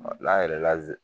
la yɛrɛ la ze